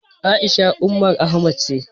A'isha Umar Ahmad ce.